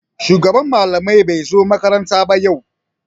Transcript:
Shugaban malamai bai zo makaranta ba yau.